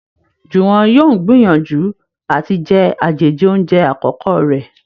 Juwon yóò n gbìyànjú àti jé àjèjì oúnjẹ àkókò rẹ